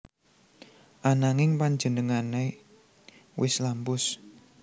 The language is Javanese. Ananging panjenengané wis lampus